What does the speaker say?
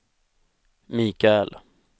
Michael